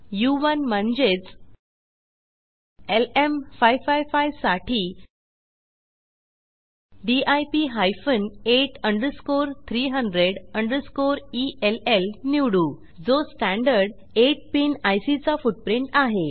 उ1 म्हणजेच एलएम555 साठी DIP hyphen 8 underscore 300 underscore L निवडू जो स्टँडर्ड आइट पिन आयसी चा फुटप्रिंट आहे